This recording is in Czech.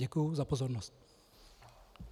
Děkuji za pozornost.